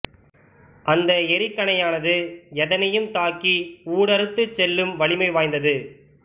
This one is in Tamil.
அந்த எறிகணையனது எதனையும் தாக்கி ஊடறுத்துச் செல்லும் வலிமை வாய்ந்தது